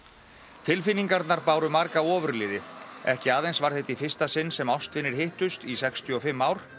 tilfinningarnar báru marga ofurliði ekki aðeins var þetta í fyrsta sinn sem ástvinir hittust í sextíu og fimm ár